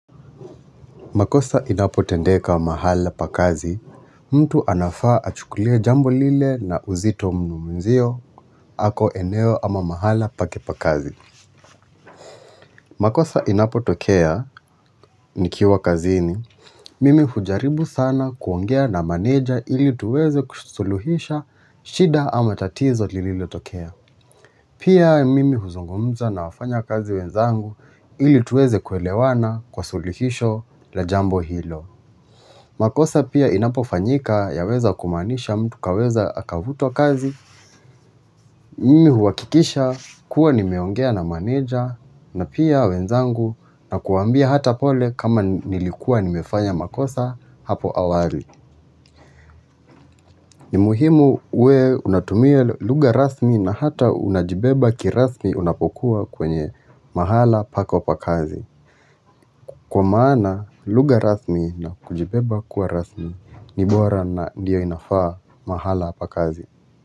Makosa inapo tendeka mahala pakazi, mtu anafaa achukulie jambo lile na uzito mnu mwenzio ako eneo ama mahala pake pakazi. Makosa inapo tokea, nikiwa kazini, mimi hujaribu sana kuongea na maneja ili tuweze kusuluhisha shida ama tatizo lililo tokea. Pia mimi huzungumza na wafanya kazi wenzangu ili tuweze kuelewana kusuluhisho la jambo hilo. Makosa pia inapofanyika ya weza kumanisha mtu kaweza akavuto kazi, mimi huwakikisha kuwa nimeongea na maneja na pia wenzangu na kuambia hata pole kama nilikua nimefanya makosa hapo awali. Ni muhimu uwe unatumia lugha rasmi na hata unajibeba kirasmi unapokuwa kwenye mahala pako pakazi Kwa maana lugha rasmi na kujibeba kuwa rasmi ni bora na ndio inafaa mahala pakazi.